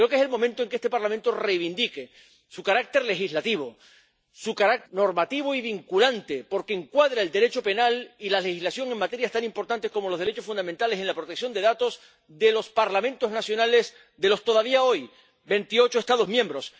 Creo que es el momento de que este Parlamento reivindique su carácter legislativo, su carácter normativo y vinculante, porque encuadra el Derecho penal y la legislación en materias tan importantes como los derechos fundamentales en la protección de datos de los Parlamentos nacionales de los, todavía hoy, veintiocho Estados miembros